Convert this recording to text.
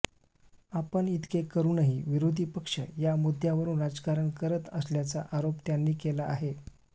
आपण इतके करूनही विरोधी पक्ष या मुद्दय़ावरून राजकारण करत असल्याचा आरोप त्यांनी केला आहे